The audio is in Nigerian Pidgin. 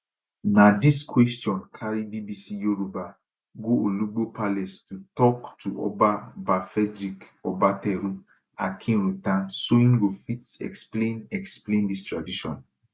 na dis question carry bbc yoruba go olugbo palace to tok to oba ba frederick obateru akinruntan so im go fit explain explain dis tradition